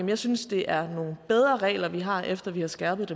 jeg synes det er nogle bedre regler vi har efter vi har skærpet